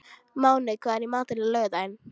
Máney, hvað er í matinn á laugardaginn?